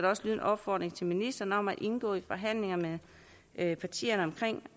også lyde en opfordring til ministeren om at indgå i forhandlinger med partierne om